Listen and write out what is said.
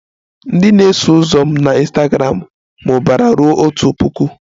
Ndị na-eso ụzọ m na Ịnstagramụ mụbara ruo otu puku